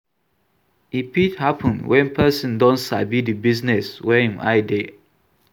E fit happen when person don sabi di business wey im eye dey